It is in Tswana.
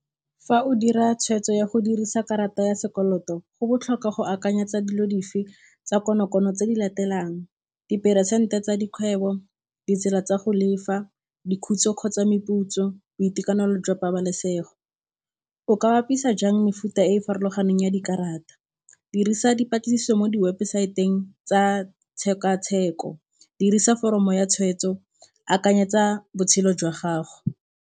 Fa o dira tshwetso ya go dirisa karata ya sekoloto go botlhokwa go akanyetsa dilo dife tsa konokono tse di latelang diperesente tsa dikgwebo, ditsela tsa go lefa, kgotsa meputso, boitekanelo jwa pabalesego. O ka bapisa jang mefuta e e farologaneng ya dikarata? Dirisa dipatlisiso mo diwebosaeteng tsa tshekatsheko, dirisa foromo ya tshweetso, akanyetsa botshelo jwa gago.